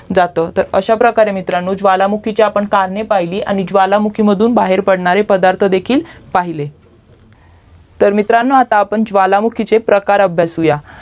जातं अश्या प्रकारे मित्रांनो ज्वलमुखीची करणे पाहिलीत आणि ज्वालामुखीतून बाहेर बाहेर पडणारे पदार्थ देखील पाहिले तर मित्रांनो आता आपण ज्वालामुखीचे प्रकार अभ्यासूया